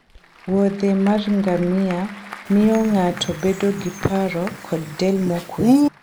wuodhe mar ngamia miyo ng'ato bedo gi paro kod del mokwe